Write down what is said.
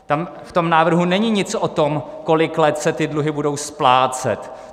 V tom návrhu není nic o tom, kolik let se ty dluhy budou splácet.